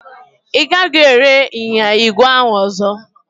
Ị gaghịkwa ere ịnyịnya ígwè ahụ ọzọ.